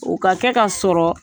O ka kɛ ka sɔrɔ